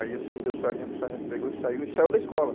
Aí eu soltei o sargento, o sargento pegou e saiu, e saiu da escola.